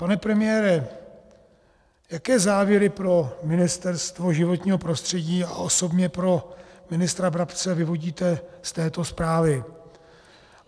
Pane premiére, jaké závěry pro Ministerstvo životního prostředí a osobně pro ministra Brabce vyvodíte z této zprávy?